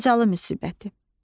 Xocalı müsibəti.